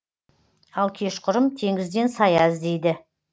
ал кешқұрым теңізден сая іздейді